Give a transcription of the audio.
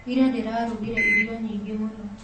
Ira ndĩrarugire irio nyingĩ mũno.